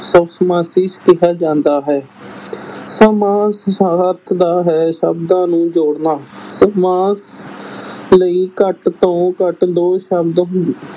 ਸ ਸਮਾਸੀ ਕਿਹਾ ਜਾਂਦਾ ਹੈ ਸਮਾਸ ਦਾ ਅਰਥ ਦਾ ਹੈ ਸ਼ਬਦਾਂ ਨੂੰ ਜੋੜਨਾ, ਸਮਾਸ ਲਈ ਘੱਟ ਤੋਂ ਘੱਟ ਦੋ ਸ਼ਬਦ